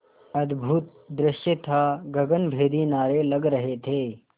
अद्भुत दृश्य था गगनभेदी नारे लग रहे थे